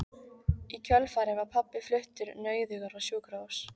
Í kjölfarið var pabbi fluttur nauðugur á sjúkrahús.